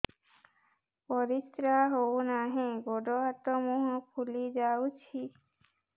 ପରିସ୍ରା ହଉ ନାହିଁ ଗୋଡ଼ ହାତ ମୁହଁ ଫୁଲି ଯାଉଛି